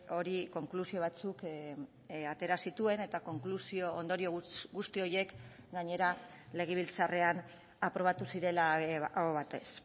hori konklusio batzuk atera zituen eta konklusio ondorio guzti horiek gainera legebiltzarrean aprobatu zirela aho batez